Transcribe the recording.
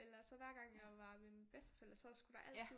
Eller så hver gang jeg var ved mine bedsteforældre så skulle der altid